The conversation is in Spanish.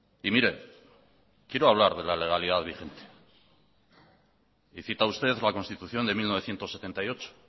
y mire quiero hablar de la legalidad vigente y cita usted la constitución de mil novecientos setenta y ocho